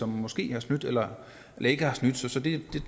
måske har snydt eller ikke har snydt så det